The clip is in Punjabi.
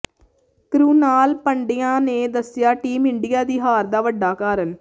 ਕਰੁਣਾਲ ਪੰਡਯਾ ਨੇ ਦੱਸਿਆ ਟੀਮ ਇੰਡੀਆ ਦੀ ਹਾਰ ਦਾ ਵੱਡਾ ਕਾਰਨ